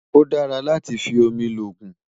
ọ̀ dàrà látí fí òmì lógún